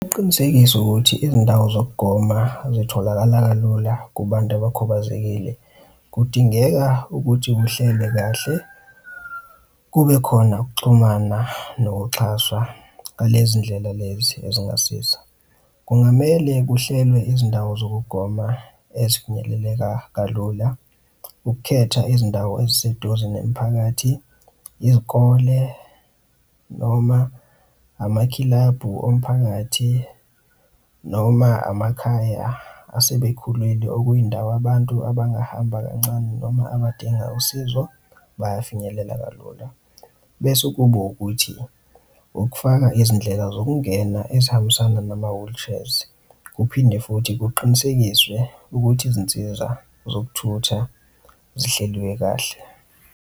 Uqinisekisa ukuthi izindawo zokugoma zitholakala kalula, kubantu abakhubazekile, kudingeka ukuthi uhlele kahle kube khona ukuxhumana nokuxhaswa ngalezi ndlela lezi ezingasiza. Kungamele kuhlelwe izindawo zokugoma ezifinyeleleka kalula, ukukhetha izindawo eziseduze nemiphakathi, izikole noma amakilabhu omphakathi, noma amakhaya asebekhulile okuyindawo abantu abangahamba kancane noma abadinga usizo bayafinyelela kalula. Bese kuba ukuthi ukufaka izindlela zokungena ezihambisana nama-wheelchairs. Kuphinde futhi kuqinisekiswe ukuthi izinsiza zokuthutha zihleliwe kahle.